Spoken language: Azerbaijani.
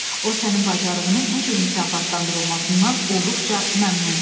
O sənin bacarığını bu cür mükafatlandırılmasından olduqca məmnundur.